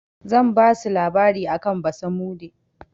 Zan basu labari akan basamude.